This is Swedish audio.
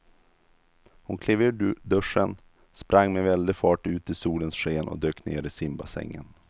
Hon klev ur duschen, sprang med väldig fart ut i solens sken och dök ner i simbassängen.